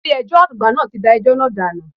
Ilé ẹjọ́ àgbà náà ti da ẹjọ́ náà dànù.